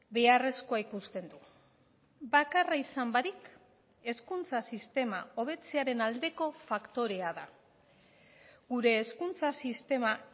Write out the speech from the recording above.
beharrezkoa ikusten du bakarra izan barik hezkuntza sistema hobetzearen aldeko faktorea da gure hezkuntza sistema